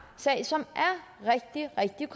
sag som er rigtig rigtig